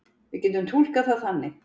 Við getum túlkað það þannig.